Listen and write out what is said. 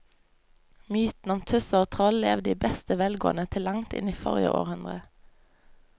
Mytene om tusser og troll levde i beste velgående til langt inn i forrige århundre.